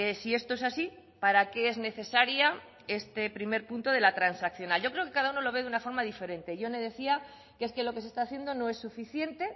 si esto es así para qué es necesaria este primer punto de la transaccional yo creo que cada uno lo ve de una forma diferente jone decía que es que lo que se está haciendo no es suficiente